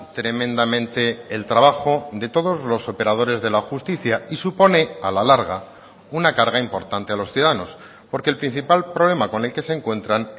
tremendamente el trabajo de todos los operadores de la justicia y supone a la larga una carga importante a los ciudadanos porque el principal problema con el que se encuentran